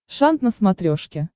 шант на смотрешке